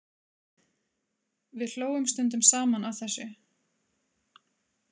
Við hlógum stundum saman að þessu.